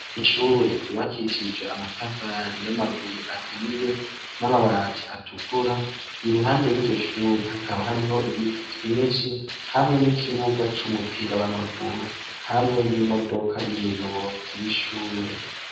Ishure ryubakishijwe amatafari y'amabuye ahiye n'amabati atukura. Iruhande y'iryo shure hakaba hariho ibiti vyinshi hamwe n'ikibuga c'umupira w'amaguru hamwe n'imodoka y'umuyobozi w'ishure.